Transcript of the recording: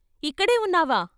ఇక్కడే ఉన్నావా?